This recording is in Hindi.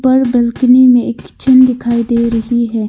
बालकनी में एक किचन दिखाई दे रही है।